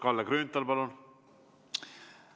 Kalle Grünthal, palun!